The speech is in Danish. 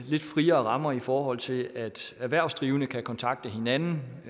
lidt friere rammer i forhold til at erhvervsdrivende kan kontakte hinanden